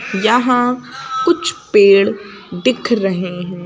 यहां कुछ पेड़ दिख रहे हैं।